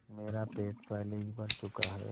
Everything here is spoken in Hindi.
मेरा पेट पहले ही भर चुका है